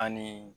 Ani